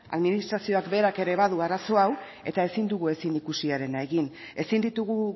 administrazioak berak ere badu arazo hau eta ezin dugu ezinikusiarena egin ezin ditugu